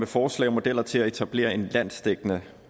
forslag og modeller til at etablere en landsdækkende